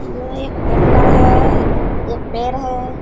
यह एक गठ्टर है एक पेड़ है।